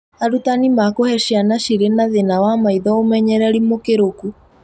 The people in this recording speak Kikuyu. Arutani makũhee ciana cirĩ na thĩna wa maitho ũmenyereri mũkĩrũku